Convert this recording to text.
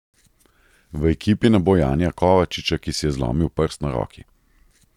V ekipi ne bo Janija Kovačiča, ki si je zlomil prst na roki.